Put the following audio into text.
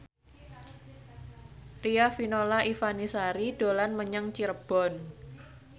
Riafinola Ifani Sari dolan menyang Cirebon